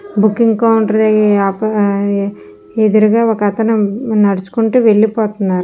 Booking counter ఎదురుగా ఒకతను నడుచుకుంటూ వెళ్లిపోతున్నారు.